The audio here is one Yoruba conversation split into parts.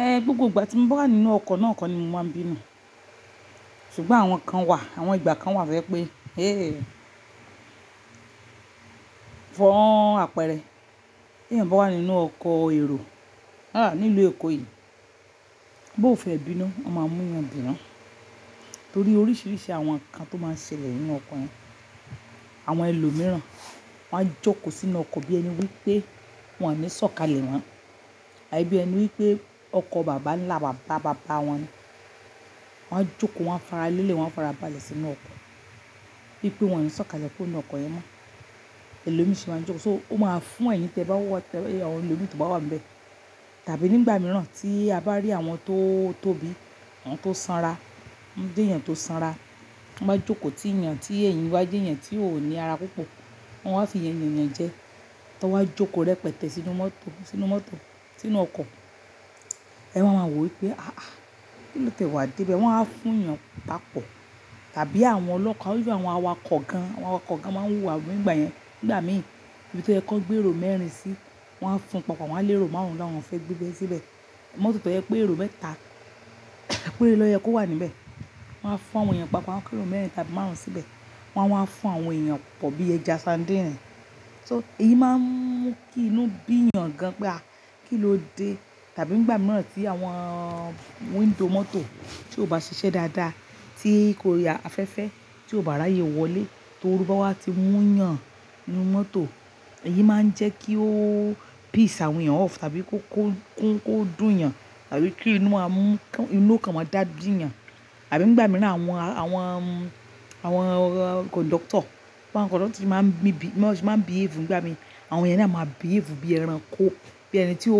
Eh gbogbo ìgbà tí mo bá wà nínú ọkọ̀ náà kọ́ ni mo máa ń bínú. Ṣùgbọ́n àwọn kan wà, àwọn ìgbà kan wà to je pé, fún àpẹẹrẹ, tí ẹeyan bá wà nínú ọkọ̀ èrò, a nilu èkó yìí. Bí ó fe bínú, wọ́n máa mú'yàn bínú. Nítorí oríṣiríṣi àwọn nǹkan tó máa ń ṣẹlẹ̀ nínú ọkọ̀. Àwọn ẹlòmíràn wọ́n á jókòó sínú ọkọ̀ bí ẹni wípé wọ́n ní ṣọ̀kalẹ̀ wọ́n. Àbí bí ẹni wípé ọkọ bàbá ńlá bàbá bàbá wọn ni. Wọn á jókòó, wọ́n á faralẹ́lẹ̀, wọ́n á farabalẹ̀ sínú ọkọ̀. Bí pé wọ́n ní ṣọ̀kalẹ̀ kúrò nu ọkọ̀ yẹn mọ́. Bee lelo mii ṣe máa n jókòó, so ó máa fún ẹyin tẹ bá wa, àwọn ẹlòmíràn tó bá wà níbẹ̀. Tàbí nígbà mìíràn tí a bá rí àwọn tó tóbi, àwọn tó sanra, tí won jeyàn tó sanra, ti wọ́n bá jókòó tì í yan tí èyin bá jeyàn tí ò ní ara púpọ̀. Wọn á fi yẹn yànyàn jẹ. Tí wọ́n á wa jókòó rẹpẹtẹ sínú mọ́tò, sínú mọ́tò, sínú ọkọ̀. Ẹ wá ma wò wí pé, "àá, kí ló tiẹ̀ wá dé bayi?" Wọn á wa fún yàn papọ̀. Tàbí àwọn ọlọ́pa, bí i àwọn awakọ̀ gan-an, àwọn awakọ̀ gan-an máa ń wú wa, nígbà yẹn, gbà mí. Níbi tó ẹkọ gbé èrò mẹ́rin sí, wọ́n á fun papọ̀, wọ́n á lérò márùn-ún láwọn fẹ́ gbé bẹ́ẹ síbẹ̀. Mọ́tò tó yẹ pé èrò mẹ́ta, péré ló yẹ kó wà níbẹ̀. Wọn á fún àwọn èèyàn papọ̀, kí èrò mẹ́rin tàbí márùn-ún síbẹ̀. Wọn á wá fún àwọn èèyàn pọ̀ bí i ẹja sandínì. So èyí máa ń mú kí inú bí yàn gan-an pé a, kí ló dé? Tàbí nígbà mìíràn tí àwọn window mọ́tò tí ò bá ṣiṣẹ́ dáadáa. Tí kò yà afẹ́fẹ́, tí ò bá ráyè wọlé. Torú bá wá ti mú yàn nínú mọ́tò. Èyí máa ń jẹ́ kí ó piss àwọn èèyàn off tàbí kó kún, kó dùn yàn. Tàbí kí inú máa mú, inú ọkàn máa dàbí eyàn. Àbí nígbà mìíràn àwọn, àwọn, àwọn conductor, àwọn conductor tí máa ń bí bí, máa ń behave, nígbà mí. Àwọn yẹn na a máa behave bí i ẹran kó. Bí i ẹni tí ò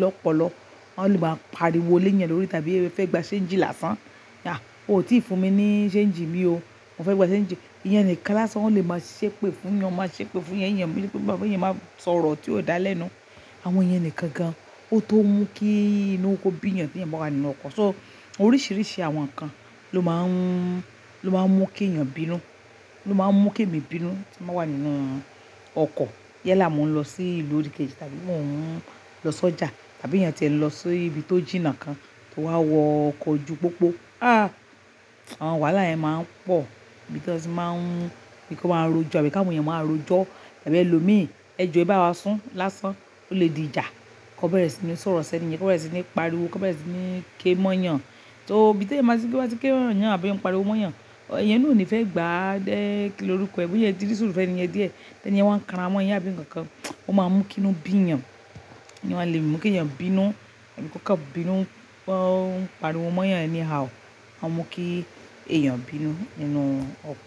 lọ́pọlọ. Wọn lè máa pariwo léèyàn lórí, tàbí fẹ́ gba change láṣán. "À o ti fún mi ní change mi o. Mo fẹ́ gba change." Ìyẹn nìkan lásán wọn lè máa ṣẹ́pé fún yàn, wọ́n máa ṣẹ́ pé fún iya eyan, boÑñn yóò wí pé, yàn máa sọ̀rọ̀ tí ó dá lẹ́nu. Àwọn ìyen nikan gan-an. Ó tó mú kí inú kó bí yàn tí ẹeyanil bá wà nínú ọkọ̀. So oríṣiríṣi àwọn nǹkan ló máa ń, ló máa ń mú kí èèyàn bínú. Ló máa ń mú kí èmi bínú tí mo bá wà nínú ọkọ̀. Yááà mo n lọ sí ìlú òdi kejì tàbí mo ń lọ sọ́jà, tàbí èèyàn tí ẹ̀ lọ sí ibi tó jìnnà kan, tó wá wọ ọkọ̀ ju pópó. Àwọn wàhálà yẹn máa ń pọ̀. Níbi tí wọ́n sì máa ń, bí i ki won máa rojọ́, àbí káwon eeyan máa rojọ́. Àbí ẹlòmíràn, "ẹ jọ ẹ bá wa sún lásán, o le di ìjà." Kọ bẹ̀rẹ̀ sí ní sọ̀rọ̀ sẹ́ni yẹn, kọ bẹ̀rẹ̀ sí ní pariwo, kọ bẹ̀rẹ̀ sí ní ké mọ́ yàn. So ibi tẹeyan ba ti ripe wọ́n ba ti ké mó'yàn àbí won pariwo mọ́ yàn. Ìyẹn náà ò ní fẹ́ gba. Dé kí ló rúkọ̀ ẹ́, boya ẹ tí dì sùùrù fẹ́ni yẹn díẹ̀. Ẹ̀ní yẹn wa ń kanra mọ́ yin, àbí ǹkan kan. Ó máa ń mú kí inú bí yàn. Ẹni wá lè mú kí èèyàn bínú tàbí kó kọ̀ bínú. O n pariwo mọ́ yàn anyhow. A máa mú kí èèyàn bínú nínú ọkọ̀.